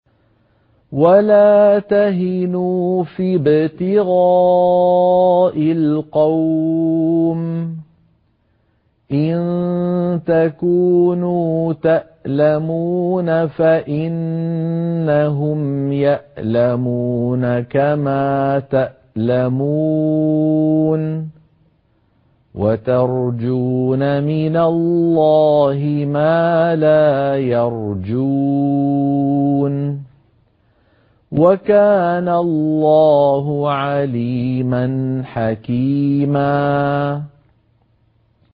وَلَا تَهِنُوا فِي ابْتِغَاءِ الْقَوْمِ ۖ إِن تَكُونُوا تَأْلَمُونَ فَإِنَّهُمْ يَأْلَمُونَ كَمَا تَأْلَمُونَ ۖ وَتَرْجُونَ مِنَ اللَّهِ مَا لَا يَرْجُونَ ۗ وَكَانَ اللَّهُ عَلِيمًا حَكِيمًا